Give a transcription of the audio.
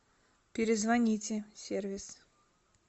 перезвоните сервис